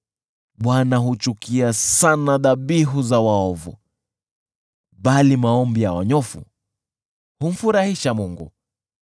Bwana huchukia sana dhabihu za waovu, bali maombi ya wanyofu humfurahisha Mungu.